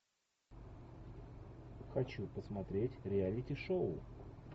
хочу посмотреть реалити шоу